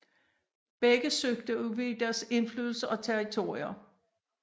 Begge søgte at udvide deres indflydelse og territorier